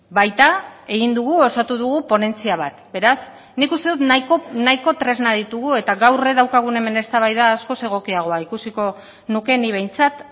baita egin dugu osatu dugu ponentzia bat beraz nik uste dut nahiko tresna ditugu eta gaur daukagun hemen eztabaida askoz egokiagoa ikusiko nuke nik behintzat